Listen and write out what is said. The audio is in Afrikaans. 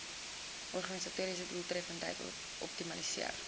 organisatoriese doeltreffendheid optimaliseer